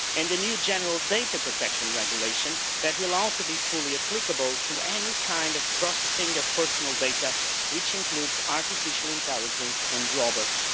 And the new General Data Protection Regulation that will also be fully applicable to any kind of processing of personal data, which includes artificial intelligence and robots.